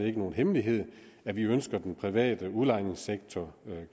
ikke nogen hemmelighed at vi ønsker den private udlejningssektor